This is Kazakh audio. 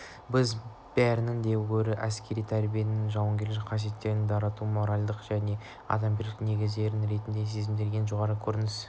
бізге бәрінен де гөрі әскери тәрбиеде жауынгерлік қасиеттерді дарытудың моральдық және адамгершілік негіздері ретіндегі сезімдердің ең жоғары көрінісін